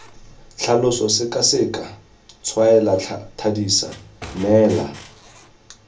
tlhalosa sekaseka tshwaela thadisa neela